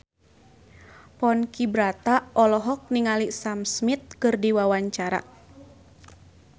Ponky Brata olohok ningali Sam Smith keur diwawancara